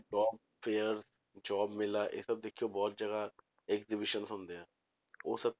Job fair job ਮੇਲਾ ਇਹ ਸਭ ਦੇਖਿਓ ਬਹੁਤ ਜਗ੍ਹਾ aggievision ਹੁੰਦੇ ਆ, ਉਹ ਸਭ